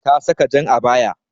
Ta saka jan abaya.